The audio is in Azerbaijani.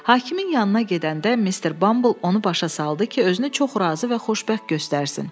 Hakimin yanına gedəndə Mr. Bumble onu başa saldı ki, özünü çox razı və xoşbəxt göstərsin.